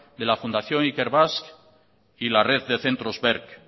de la fundación ikerbasque y la red de centros berc